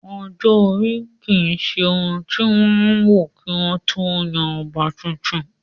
Ọjọ́-orí ò kí ń se ohun tí wọ́n ń wò kí wọ́n ó tó yan ọba tuntun